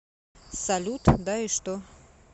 салют да и что